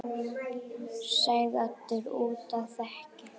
sagði Oddur úti á þekju.